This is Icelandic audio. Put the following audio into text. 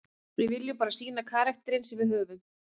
Við viljum bara sýna karakterinn sem við höfum.